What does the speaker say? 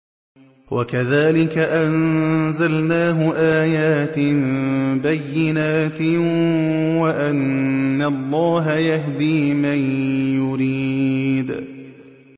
وَكَذَٰلِكَ أَنزَلْنَاهُ آيَاتٍ بَيِّنَاتٍ وَأَنَّ اللَّهَ يَهْدِي مَن يُرِيدُ